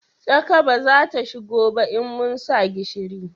Tsaka ba za ta shigo ba in mun sa gishiri